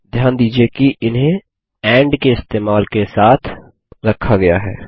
ध्यान दीजिये कि इन्हें एंड के इस्तेमाल से एक साथ रखा गया है